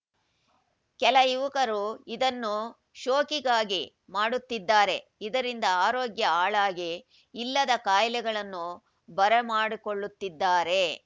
ಕೆಲ ಯುವಕರು ಇದನ್ನು ಶೋಕಿಗಾಗಿ ಮಾಡುತ್ತಿದ್ದಾರೆ ಇದರಿಂದ ಆರೋಗ್ಯ ಹಾಳಾಗಿ ಇಲ್ಲದ ಕಾಯಿಲೆಗಳನ್ನು ಬರ ಮಾಡಿಕೊಳ್ಳುತ್ತಿದ್ದಾರೆ